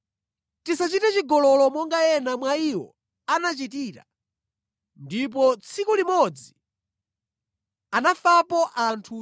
Tisachite chigololo monga ena mwa iwo anachitira ndipo tsiku limodzi anafapo anthu 23,000.